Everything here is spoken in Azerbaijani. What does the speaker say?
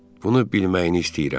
Bunu bilməyini istəyirəm.